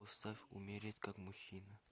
поставь умереть как мужчина